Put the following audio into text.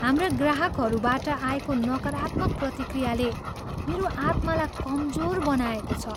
हाम्रा ग्राहकहरूबाट आएको नकारात्मक प्रतिक्रियाले मेरो आत्मालाई कमजोर बनाएको छ।